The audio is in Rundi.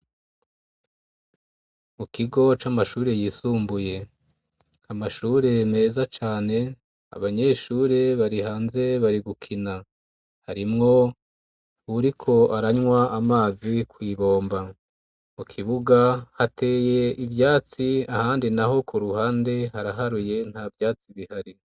Mu kigo c'amashure yisumbuye amashure meza cane, Abanyeshure bari hanze bari gukina, harimwo uwuriko aranywa amazi kw'ibomba. Mu kibuga hateye ivyatsi ahandi naho ku ruhande haraharuye nta vyatsi bihari.